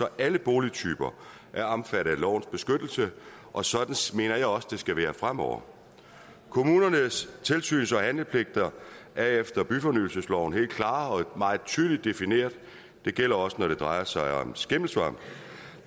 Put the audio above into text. alle boligtyper er omfattet af lovens beskyttelse og sådan mener jeg også det skal være fremover kommunernes tilsyns og handlepligt er efter byfornyelsesloven helt klart og meget tydeligt defineret det gælder også når det drejer sig om skimmelsvamp